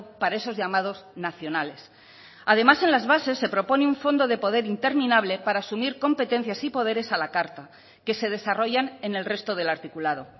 para esos llamados nacionales además en las bases se propone un fondo de poder interminable para asumir competencias y poderes a la carta que se desarrollan en el resto del articulado